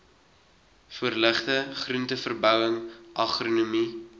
voorligting groenteverbouing agronomie